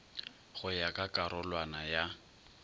go ya ka karolwana ya